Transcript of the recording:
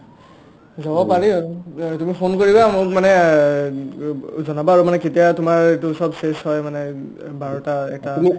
যাব পাৰি আৰু তুমি ফোন কৰিবা মোক মানে জনাবা আৰু মানে কেতিয়া তোমাৰ এইটো চব্ চেচ হয় মানে অব্ বাৰটা এটা